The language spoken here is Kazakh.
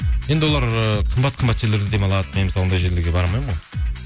енді олар ы қымбат қымбат жерлерде демалады мен мысалы ондай жерлерге бара алмаймын ғой